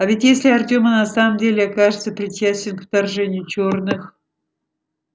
а ведь если артем и на самом деле окажется причастен к вторжению чёрных